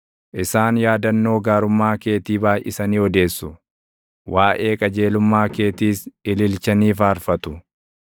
Isaan yaadannoo gaarummaa keetii baayʼisanii odeessu; waaʼee qajeelummaa keetiis ililchanii faarfatu.